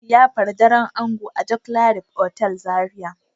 za a yi liyafar daren ango a joclarif otal Zaria.